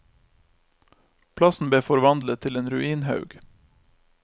Plassen ble forvandlet til en ruinhaug.